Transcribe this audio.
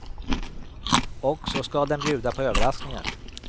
Och så ska den bjuda på överraskningar.